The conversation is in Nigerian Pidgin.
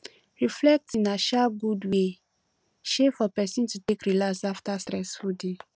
reflecting na um good wey um for person to take relax after stressful day